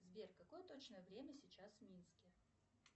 сбер какое точное время сейчас в минске